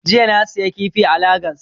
Jiya na siyi kifi a lagas